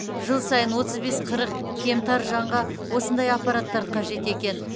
жыл сайын отыз бес қырық кемтар жанға осындай аппараттар қажет екен